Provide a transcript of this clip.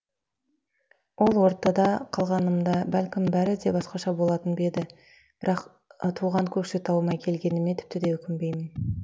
ол ортада қалғанымда бәлкім бәрі де басқаша болатын ба еді бірақ туған көкшетауыма келгеніме тіпті де өкінбеймін